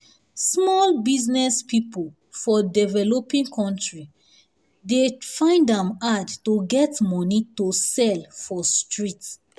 small business people for developing country dey find am hard to get money to sell for um street.